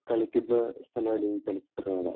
കളിക്കുന്ന സ്ഥലമാണ് ഈ ചലച്ചിത്ര മേള